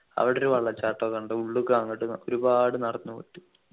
അവിടൊരു വെള്ളച്ചാട്ടം ഒക്കെ ഉണ്ട് ഉള്ളുക്കു അങ്ങോട്ട് ഒരുപാട് നടന്നു പോയിട്ട്